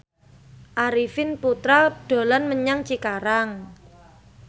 Arifin Putra dolan menyang Cikarang